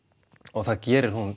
og það gerir hún